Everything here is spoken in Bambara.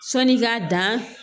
Sanni k'a dan